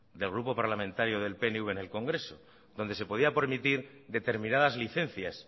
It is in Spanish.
del grupo parlamentario del pnv en el congreso donde se podía permitir determinadas licencias